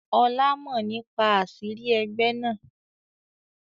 Ọlá mọ nípa àṣírí ẹgbẹ́ náà.